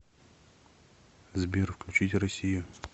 сбер включить россию